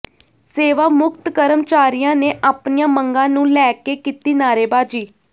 ਸੇਵਾ ਮੁਕਤ ਕਰਮਚਾਰੀਆਂ ਨੇ ਆਪਣੀਆਂ ਮੰਗਾਂ ਨੂੰ ਲੈ ਕੇ ਕੀਤੀ ਨਾਅਰੇਬਾਜ਼ੀ